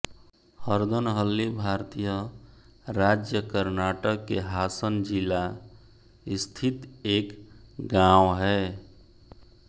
हरदनहल्ली भारतीय राज्य कर्नाटक के हासन जिला स्थित एक गाँव है